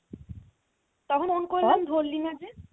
তখন phone করলাম ধরলি না যে